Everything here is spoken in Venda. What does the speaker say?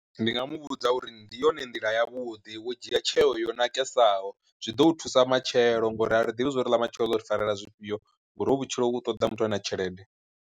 Ndi nga muvhudza uri ndi yone nḓila ya vhuḓi wo dzhia tsheo yo nakesaho zwi ḓo u thusa matshelo ngori a ri ḓivhi uri ḽa matshelo ḽo ri farela zwifhio, ngori hovhu vhutshilo vhu ṱoḓa muthu ane a tshelede.